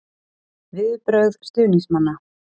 Viðbrögð stuðningsmanna?